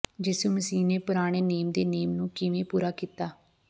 ਯਿਸੂ ਮਸੀਹ ਨੇ ਪੁਰਾਣੇ ਨੇਮ ਦੇ ਨੇਮ ਨੂੰ ਕਿਵੇਂ ਪੂਰਾ ਕੀਤਾ